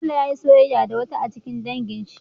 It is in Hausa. Bello yayi soyayya da wata a cikin dangin shi